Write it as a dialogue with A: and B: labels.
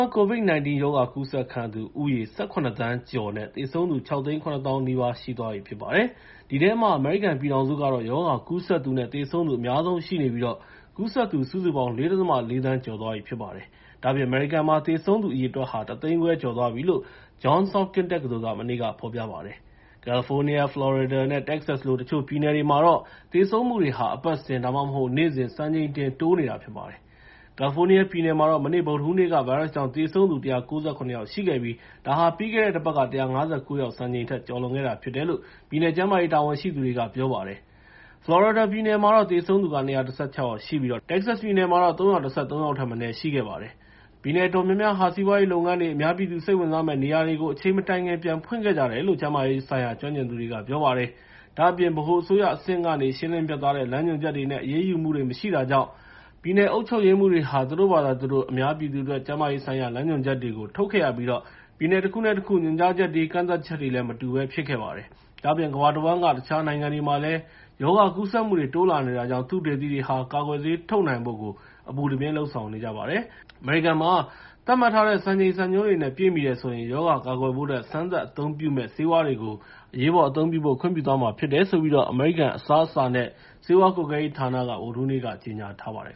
A: န်း COVID-19 ရောဂါကူးစက်ခံရသူဦးရေ ၁၇ သန်းကျော်နဲ့ သေဆုံးသူ ၆၇၀,၀၀၀ နီးပါးရှိသွားပြီဖြစ်ပါတယ်။ အဲဒီထဲမှာ အမေရိကန်ပြည်ထောင်စုကတော့ ရောဂါကူးစက်သူနဲ့ သေဆုံးသူ အများဆုံး ရှိနေပြီး ကူးစက်သူ စုစုပေါင်း ၄.၄ သန်း ကျော်သွားပြီဖြစ်ပါတယ်။ ဒါ့အပြင် အမေရိကန်မှာ သေဆုံးသူအရေအတွက်ဟာ ၁၅၀,၀၀၀ ကျော်သွားပြီလို့ Johns Hopkins တက္ကသိုလ်က မနေ့က ဖော်ပြပါတယ်။ California, Florida နဲ့ Texas လို တချို့ပြည်နယ်တွေမှာတော့ သေဆုံးမှုတွေဟာ အပတ်စဉ် ဒါမှမဟုတ် နေ့စဉ် စံချိန်တင် တိုးနေတာဖြစ်ပါတယ်။ ကယ်လီဖိုးနီးယားပြည်နယ်မှာတော့ မနေ့ ဗုဒ္ဓဟူးနေ့က ဗိုင်းရပ်စ်ကြောင့်သေဆုံးသူ ၁၉၇ ယောက်ရှိခဲ့ပြီး ဒါဟာ ပြီးခဲ့တဲ့ တပတ်က ၁၅၉ ယောက် စံချိန်ထက် ကျော်လွန်ခဲ့တာဖြစ်တယ်လို့ ပြည်နယ်ကျန်းမာရေးတာဝန်ရှိသူတွေက ပြောပါတယ်။ ဖလော်ရီဒါပြည်နယ်မှာတော့ သေဆုံးသူ ၂၁၆ ယောက်ရှိပြီး တက္ကဆက်ပြည်နယ်မှာတော့ ၃၁၃ ယောက်ထက် မနည်းသေဆုံးခဲ့ပါတယ်။ ပြည်နယ်အတော်များများဟာ စီးပွားရေးလုပ်ငန်းတွေ၊ အများပြည်သူ စိတ်ဝင်စားမယ့် နေရာတွေကို အချိန်မတိုင်ခင် ပြန်ဖွင့်ခဲ့ကြတယ်လို့ ကျန်းမာရေးဆိုင်ရာ ကျွမ်းကျင်သူတွေက ပြောပါတယ်။ ဒါ့အပြင် ဗဟိုအစိုးရအဆင့်ကနေ ရှင်းလင်းပြတ်သားတဲ့ လမ်းညွှန်ချက်တွေနဲ့ အရေးယူမှုတွေ မရှိတာကြောင့် ပြည်နယ်အုပ်ချုပ်ရေးမှူးတွေဟာ သူတို့ဘာသာသူတို့ အများပြည်သူအတွက် ကျန်းမာရေးဆိုင်ရာ လမ်းညွှန်ချက်တွေကို ထုတ်ခဲ့ရပြီး ပြည်နယ်တခုနဲတခု ညွှန်ကြားချက်တွေ ကန့်သတ်ချက်တွေ မတူဘဲဖြစ်ခဲ့ပါတယ်။ ဒါ့အပြင် ကမ္ဘာတဝန်းက တခြားနိုင်ငံတွေမှာလည်း ရောဂါကူးစက်မှုတွေ တိုးလာနေတာကြောင့် သုတေသီတွေက ကာကွယ်ဆေးထုတ်နိုင်ဖို့ အပူတပြင်း လုပ်ဆောင်နေကြပါတယ်။ အမေရိကန်မှာ သတ်မှတ်ထားတဲ့ စံချိန်စံညွှန်းတွေနဲ့ ပြည့်မီတယ်ဆိုရင် ရောဂါကာကွယ်ဖို့အတွက် စမ်းသပ်အသုံးပြုမယ့်ဆေးဝါးတွေကို အရေးပေါ်အသုံးပြုဖို့ ခွင့်ပြုသွားမှာဖြစ်တယ်လို့ အမေရိကန် အစားအစာနဲ့ ဆေးဝါကွပ်ကဲရေးဌာနက ဗုဒ္ဓဟူးနေ့က ကြေငြာထားပါတယ်